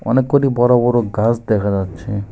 অনেকগুলি বড় বড় গাছ দেখা যাচ্ছে।